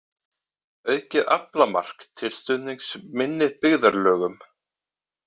Aukið aflamark til stuðnings minni byggðarlögum